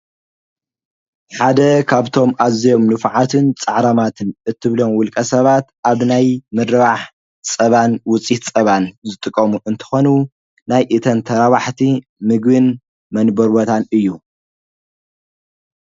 ሓደ ካብቶም ኣዘዮም ኑፍዓትን ፃዕራማትን እትብሎም ውልቀ ሰባት ኣብ ናይ ምረባሕ ጸባን ውፂሕ ጸባን ዘጥቆሙ እንተኾኑ ናይ እተንተራባሕቲ ምግን መንበርበታን እዩ።